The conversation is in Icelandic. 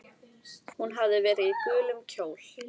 Hún hafði verið í gulum kjól.